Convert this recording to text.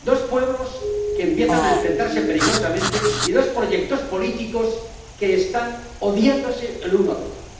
Dos pueblos que empiezan a enfrentarse peligrosamente y dos proyectos políticos que están odiándose el uno al otro.